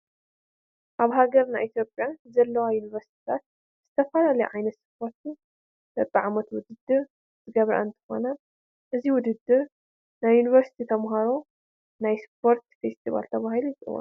ኣብ ሃገርና ኢትዮጵያ ዘለዋ ዩኒቨርሲታት ብዝተፈላለየ ዓይነት ስፖርት በብዓመቱ ውድድር ዝገብራ እንትኾን እዚ ውድድር ናይ ዩኒቨርሲቲ ተመሃሮ ናይ ስፖርት ፌስቲቫል ተባሂሉ ይፅዋዕ፡፡